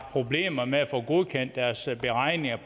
problemer med at få godkendt deres beregninger